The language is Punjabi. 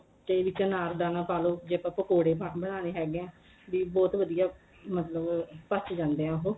ਤੇ ਵਿੱਚ ਅਨਾਰਦਾਨਾ ਪਾ ਲੋ ਜੇ ਆਪਾਂ ਪਕੋੜੇ ਬਣਾਨੇ ਹੈਗੇ ਏ ਬੀ ਬਹੁਤ ਵਧੀਆ ਮਤਲਬ ਪਚ ਜਾਂਦੇ ਏ ਉਹ